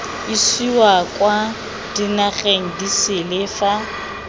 isiwa kwa dinageng disele fa